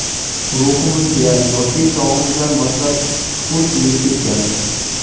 ruhimizga yoshlik chog‘imizdan boshlab chuqur singib ketgan.